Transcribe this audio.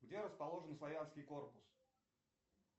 где расположен славянский корпус